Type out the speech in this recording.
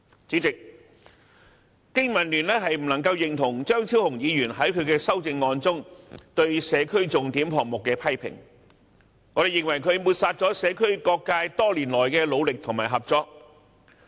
主席，經民聯不能認同張超雄議員在其修正案中對社區重點項目的批評，我們認為他抹煞了社區各界多年來的努力與合作。